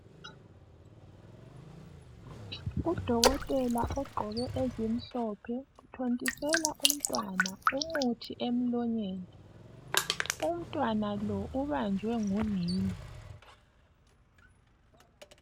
Udokotela ogqoke ezimhlophe uthontisela umntwana umuthi emlonyeni. Umntwana lo ubanjwe ngunina.